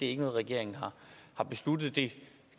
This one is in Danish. er noget regeringen har besluttet det